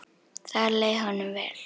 Þar leið honum vel.